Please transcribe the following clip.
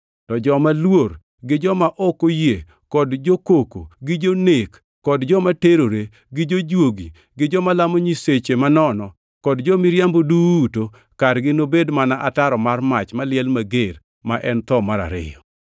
To joma luor, gi joma ok oyie kod jo-koko gi jonek kod joma terore, gi jojuogi gi joma lamo nyiseche manono kod jo-miriambo duto, kargi nobed mana ataro mar mach maliel mager, ma en tho mar ariyo!”